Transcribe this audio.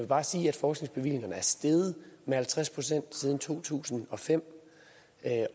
bare sige at forskningsbevillingerne er steget med halvtreds procent siden to tusind og fem